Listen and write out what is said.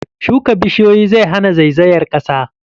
Shuka bishiyoyi zai hana zaizayar ƙasa.